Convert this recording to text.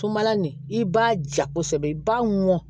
Sunbala nin i b'a ja kosɛbɛ i b'a mɔn